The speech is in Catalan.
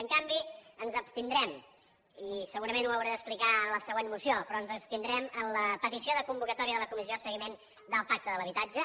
en canvi ens abstindrem i segurament ho hauré d’explicar en la següent moció però ens abstindrem en la petició de convocatòria de la comissió de seguiment del pacte de l’habitatge